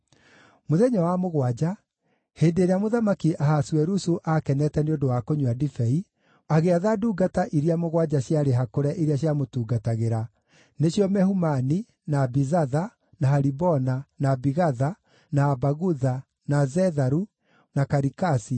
Mũthenya wa mũgwanja, hĩndĩ ĩrĩa Mũthamaki Ahasuerusu aakenete nĩ ũndũ wa kũnyua ndibei, agĩatha ndungata iria mũgwanja ciarĩ hakũre iria ciamũtungatagĩra, nĩcio Mehumani, na Bizatha, na Haribona, na Bigatha, na Abagutha, na Zetharu, na Karikasi,